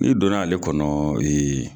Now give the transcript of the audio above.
N'i donna ale kɔnɔ